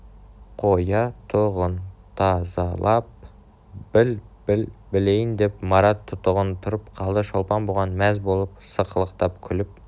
қоя-тұғын таза-лап біл біл білейін деп марат тұтығып тұрып қалды шолпан бұған мәз болып сықылықтап күліп